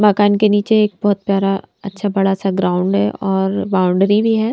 मकान के नीचे एक बहुत प्यारा अच्छा बड़ा सा ग्राउंड है और बाउंड्री भी है।